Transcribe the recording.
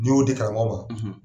N'i y'o di karamɔgɔ ma